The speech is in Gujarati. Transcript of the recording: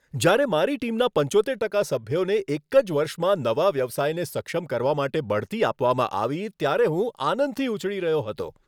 જ્યારે મારી ટીમના પંચોતેર ટકા સભ્યોને એક જ વર્ષમાં નવા વ્યવસાયને સક્ષમ કરવા માટે બઢતી આપવામાં આવી ત્યારે હું આનંદથી ઉછળી રહ્યો હતો.